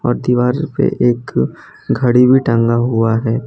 और दीवार पे एक घड़ी भी टंगा हुआ है।